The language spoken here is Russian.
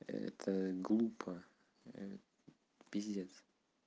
это глупо пиздец